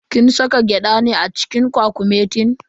Kin saka gyada ne a cikin kwakumetin?